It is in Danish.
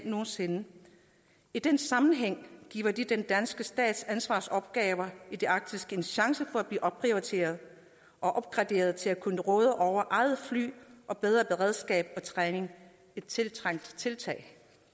nogen sinde i den sammenhæng giver det den danske stats ansvarsopgaver i det arktiske en chance for at blive opprioriteret og opgraderet til at kunne råde over eget fly og bedre beredskab og træning et tiltrængt tiltag